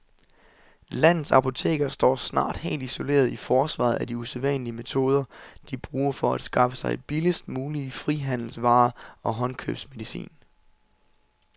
Landets apotekere står snart helt isolerede i forsvaret af de usædvanlige metoder, de bruger for at skaffe sig billigst mulige frihandelsvarer og håndkøbsmedicin.